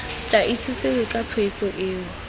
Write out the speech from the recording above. tla itsesewe ka tshwetso eo